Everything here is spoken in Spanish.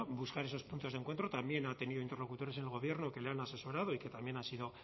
buscar esos puntos de encuentro también ha tenido interlocutores en el gobierno que le han asesorado y que también han sido